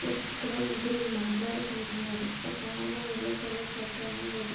ఇ ఇక్కడ ఓ ముగ్గురు మాట్లాడుకుంటున్నారు ఒకాయన యెల్లో కలర్ షర్ట్ ఆయన వెళ్ళి --